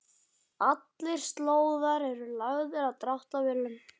Allir slóðar eru lagðir af dráttarvélum.